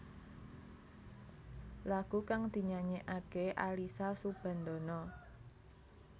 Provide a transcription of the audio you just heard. Lagu kang dinyanyèkaké Alyssa Soebandono